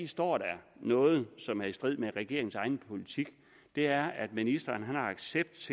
står der noget som er i strid med regeringens egen politik og det er at ministeren har accept